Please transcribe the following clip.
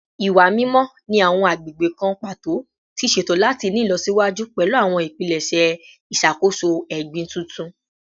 Iwa mimọ ni awọn agbegbe kan pato ti ṣeto lati ni ilọsiwaju pẹlu awọn ipilẹṣẹ iṣakoso egbin tuntun